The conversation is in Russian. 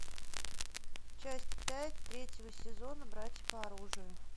часть пять третьего сезона братья по оружию